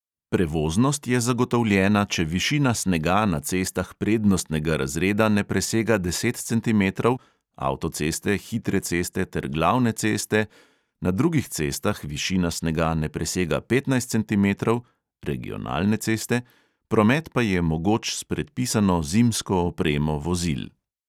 Prevoznost je zagotovljena, če višina snega na cestah prednostnega razreda ne presega deset centimetrov (avtoceste, hitre ceste ter glavne ceste), na drugih cestah višina snega ne presega petnajst centimetrov (regionalne ceste), promet pa je mogoč s predpisano zimsko opremo vozil.